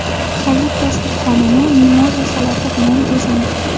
Hayit dasturxonini mimoza salati bilan bezang.